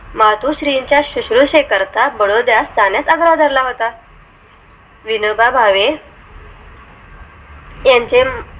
मातुश्रींच्या शुश्रूषे करता बडोद जाण्या चा आग्रह धर ला होता विनोबा भावे यांचे